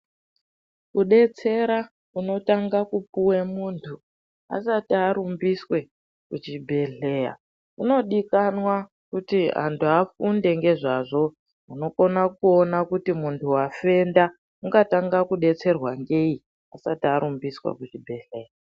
Kubetsera kunotanga kupuwe muntu asati arumbiswe kuchibhedhleya. Kunodikanwa kuti antu afunde ngezvazvo. Unokona kuona kuti muntu wafenda ungatanga kubetserwa ngei asati arumbiswa kuchibhedhlera.